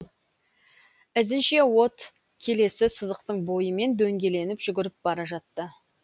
ізінше от келесі сызықтың бойымен дөңгеленіп жүгіріп бара жатты